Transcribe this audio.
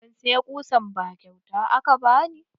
Ban siya ƙusan ba kyauta aka bani.